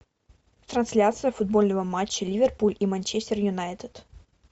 трансляция футбольного матча ливерпуль и манчестер юнайтед